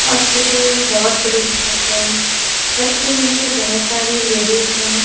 Hospital बहोत बड़ी छत हैं छत के नीचे बहोत सारी लेडीस है।